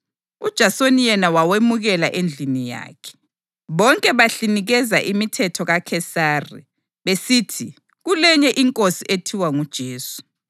uJasoni yena wawemukela endlini yakhe. Bonke bahlinikeza imithetho kaKhesari besithi kulenye inkosi ethiwa nguJesu.”